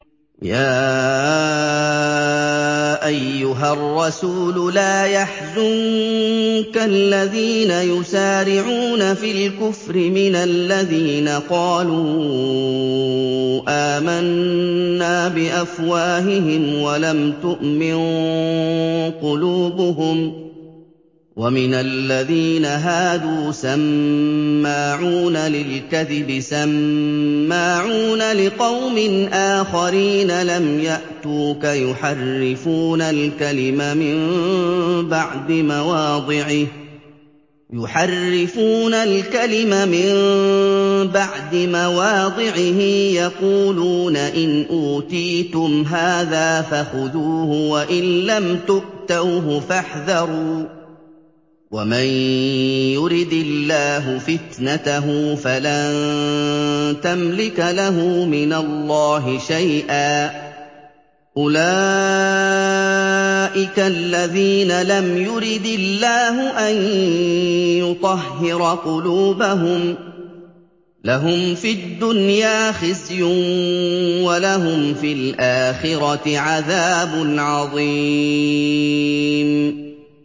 ۞ يَا أَيُّهَا الرَّسُولُ لَا يَحْزُنكَ الَّذِينَ يُسَارِعُونَ فِي الْكُفْرِ مِنَ الَّذِينَ قَالُوا آمَنَّا بِأَفْوَاهِهِمْ وَلَمْ تُؤْمِن قُلُوبُهُمْ ۛ وَمِنَ الَّذِينَ هَادُوا ۛ سَمَّاعُونَ لِلْكَذِبِ سَمَّاعُونَ لِقَوْمٍ آخَرِينَ لَمْ يَأْتُوكَ ۖ يُحَرِّفُونَ الْكَلِمَ مِن بَعْدِ مَوَاضِعِهِ ۖ يَقُولُونَ إِنْ أُوتِيتُمْ هَٰذَا فَخُذُوهُ وَإِن لَّمْ تُؤْتَوْهُ فَاحْذَرُوا ۚ وَمَن يُرِدِ اللَّهُ فِتْنَتَهُ فَلَن تَمْلِكَ لَهُ مِنَ اللَّهِ شَيْئًا ۚ أُولَٰئِكَ الَّذِينَ لَمْ يُرِدِ اللَّهُ أَن يُطَهِّرَ قُلُوبَهُمْ ۚ لَهُمْ فِي الدُّنْيَا خِزْيٌ ۖ وَلَهُمْ فِي الْآخِرَةِ عَذَابٌ عَظِيمٌ